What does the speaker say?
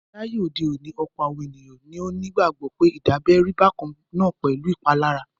Láyé òde òní, ọ̀pọ̀ àwọn ènìyàn ni ó gbagbọ pé dídábẹ rí bákan náà pẹ̀lú ìpalára.